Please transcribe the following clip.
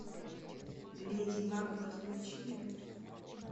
леди макбет включи мне